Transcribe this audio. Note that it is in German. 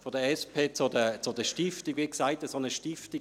Wie gesagt: Eine solche Stiftung könnte man unterstützten;